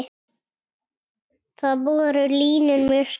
Þar voru línur mjög skýrar.